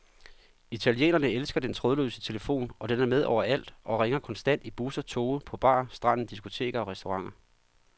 Italienerne elsker den trådløse telefon, og den er med overalt og ringer konstant i busser, toge, på bar, stranden, diskoteker og restauranter.